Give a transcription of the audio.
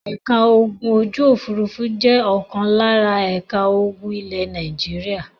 Ẹ̀ka ogun ojú-òfurufú jẹ́ ọ̀kan lára ẹ̀ka ogun ilẹ̀ Nàìjíríà.